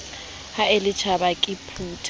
ha le tjhaba ke phutha